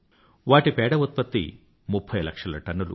వాటి పేడ ఉత్పత్తి ముఫ్ఫై లక్షల టన్నులు